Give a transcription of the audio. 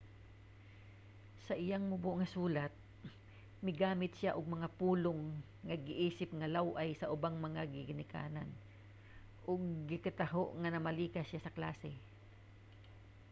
sa iyang mubo nga sulat migamit siya og mga pulong nga giisip nga law-ay sa ubang mga ginikanan ug gikataho nga namalikas siya sa klase